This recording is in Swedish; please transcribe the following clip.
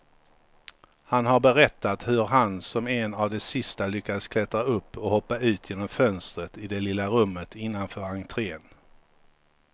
Han har berättat hur han som en av de sista lyckas klättra upp och hoppa ut genom fönstret i det lilla rummet innanför entrén.